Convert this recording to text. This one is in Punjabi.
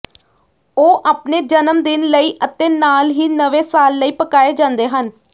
ਉਹ ਆਪਣੇ ਜਨਮ ਦਿਨ ਲਈ ਅਤੇ ਨਾਲ ਹੀ ਨਵੇਂ ਸਾਲ ਲਈ ਪਕਾਏ ਜਾਂਦੇ ਹਨ